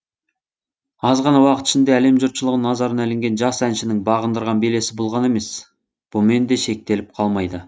аз ғана уақыт ішінде әлем жұртшылығының назарына ілінген жас әншінің бағындырған белесі бұл ғана емес бұмен де шектеліп қалмайды